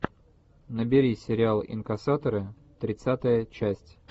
набери сериал инкассаторы тридцатая часть